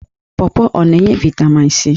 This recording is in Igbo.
Pọọpọọ ọ na-enye vaịtamin c?